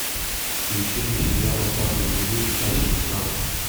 включи мне сериал остаться в живых часть шестнадцать